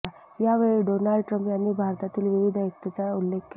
यावेळी Donald Trump यांनी भारतातील विविधतेत एकतेचा उल्लेख केला